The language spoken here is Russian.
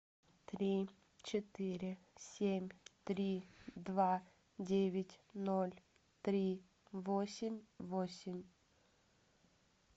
три четыре семь три два девять ноль три восемь восемь